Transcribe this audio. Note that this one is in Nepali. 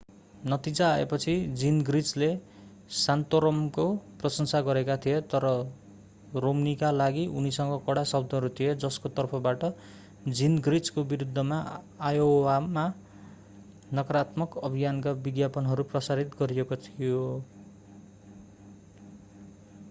नतिजा आएपछि जिनग्रिचले सान्तोरमको प्रशंसा गरेका थिए तर रोम्नीका लागि उनीसँग कडा शब्दहरू थिए जसको तर्फबाट जिनग्रिचको विरूद्धमा आयोवामा नकारात्मक अभियानका विज्ञापनहरू प्रसारित गरिएको थियो